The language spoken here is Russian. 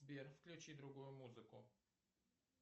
сбер включи другую музыку